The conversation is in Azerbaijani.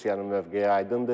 Rusiyanın mövqeyi aydındır.